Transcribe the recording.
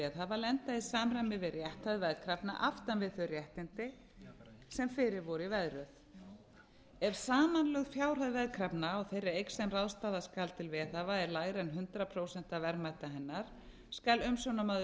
veðhafa lenda í samræmi við rétthæð veðkrafna aftan við þau réttindi sem fyrir voru í veðröð ef samanlögð fjárhæð veðkrafna á þeirri eign sem ráðstafa skal til veðhafa er lægri en hundrað prósent af verðmæti hennar skal umsjónarmaður